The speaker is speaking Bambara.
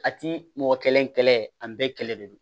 A ti mɔgɔ kelen kɛlɛ an bɛɛ kɛlɛ de don